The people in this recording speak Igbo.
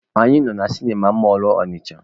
Anyị nọ na sịnịma mọlụ Ọnịcha.